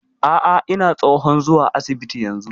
A'a ina tsohon zuwa asibiti yanzu